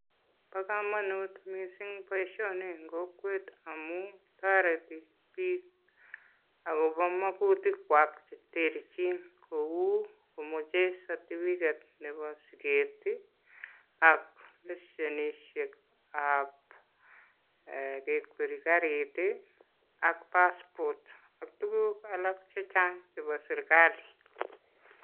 Bo komonut missing' boisioni en kokwet amun toreti biik akobo mokutikwak cheterchin kou komoche certificate nebo siket ii ak lesenisiekab kekwer karit ii ak passport ak tuguk alak chechang' chebo sirkali.